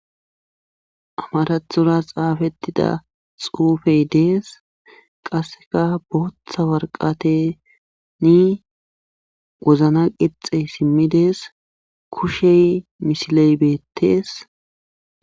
amarathora xaafettida xuufey dees qasseka bootha warqateni wozna qixxe simmidees kushey misiley beettees